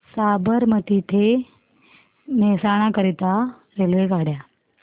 साबरमती ते मेहसाणा करीता रेल्वेगाड्या